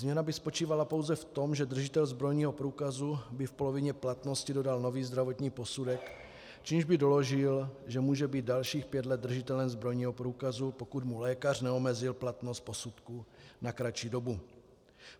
Změna by spočívala pouze v tom, že držitel zbrojního průkazu by v polovině platnosti dodal nový zdravotní posudek, čímž by doložil, že může být dalších 5 let držitelem zbrojního průkazu, pokud mu lékař neomezil platnost posudku na kratší dobu.